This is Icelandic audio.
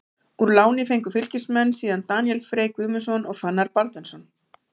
Úr láni fengu Fylkismenn síðan Daníel Frey Guðmundsson og Fannar Baldvinsson.